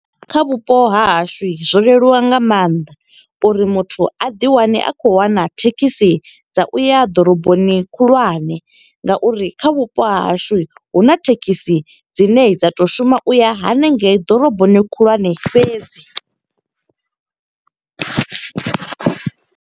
Kha vhupo ha hashu zwo leluwa nga maanḓa uri muthu a ḓi wane a khou wana thekhisi dza uya ḓoroboni khulwane. Nga uri kha vhupo ha hashu, huna thekhisi dzine dza to shuma u ya hanengei ḓoroboni khulwane fhedzi.